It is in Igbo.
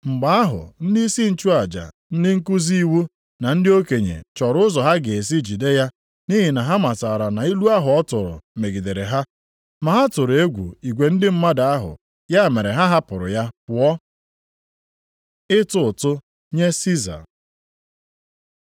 Mgbe ahụ ndịisi nchụaja, ndị nkuzi iwu na ndị okenye chọrọ ụzọ ha ga-esi jide ya nʼihi na ha matara na ilu ahụ ọ tụrụ megidere ha. Ma ha tụrụ egwu igwe ndị mmadụ ahụ, ya mere ha hapụrụ ya pụọ. Ịtụ ụtụ nye Siza